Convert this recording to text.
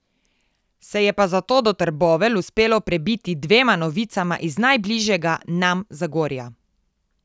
Se je pa zato do Trbovelj uspelo prebiti dvema novicama iz najbližjega nam Zagorja.